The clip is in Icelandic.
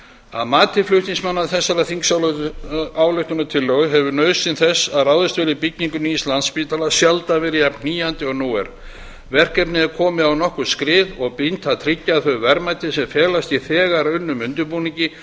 að mati flutningsmanna þessarar þingsályktunartillögu hefur nauðsyn þess að ráðist verði í byggingu nýs landspítala sjaldan verið jafn knýjandi og nú er verkefnið er komið á nokkurt skrið og brýnt að tryggja að þau verðmæti sem felast í þegar unnum undirbúningi